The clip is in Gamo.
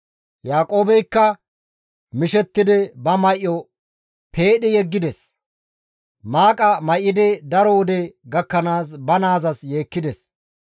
Yaaqoobeykka mishettidi ba may7o peedhi yeggides; maaqa may7idi daro wode gakkanaas ba naazas yeekkides.